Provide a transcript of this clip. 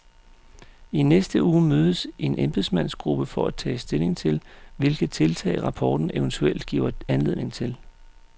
I næste uge mødes en embedsmandsgruppe for at tage stilling til, hvilke tiltag rapporten eventuelt giver anledning til.